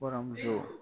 Waramuso